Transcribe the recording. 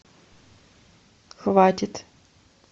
хватит